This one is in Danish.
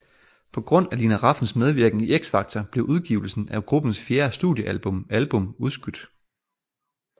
På grund af Lina Rafns medvirken i X Factor blev udgivelsen af gruppens fjerde studiealbum album udskudt